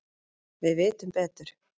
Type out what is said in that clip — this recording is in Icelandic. Við vitum betur